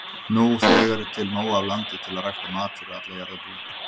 Nú þegar er til nóg af landi til að rækta mat fyrir alla jarðarbúa.